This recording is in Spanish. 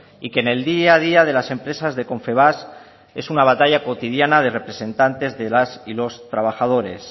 y que en el día a día de las empresas de confebask es una batalla cotidiana de representantes de las y los trabajadores